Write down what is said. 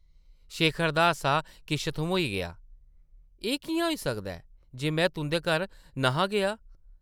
शेखर दा हासा किश थम्होई गेआ, ‘‘एह् किʼयां होई सकदा ऐ, जे में तुंʼदे घर न’हा गेआ?’’